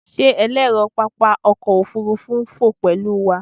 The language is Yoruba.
Ṣe ẹlẹrọ papa ọkọ ofurufu n fo pẹlu wa?